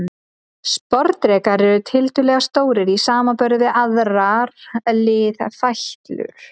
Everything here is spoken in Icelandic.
Sporðdrekar eru tiltölulega stórir í samanburði við aðrar liðfætlur.